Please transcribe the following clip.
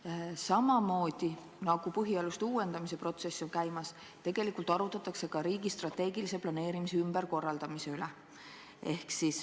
Ning samamoodi, nagu on käimas põhialuste uuendamise protsess, arutatakse ka riigi strateegilise planeerimise ümberkorraldamist.